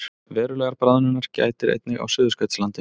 Verulegrar bráðnunar gætir einnig á Suðurskautslandinu